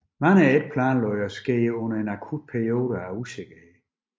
Mange er ikke planlagt og sker under en akut periode af usikkerhed